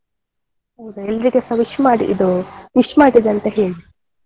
ಹೌದಾ ಎಲ್ಲರಿಗೆಸ wish ಮಾಡಿ ಇದು wish ಮಾಡಿದೇನೆ ಅಂತ ಹೇಳಿ.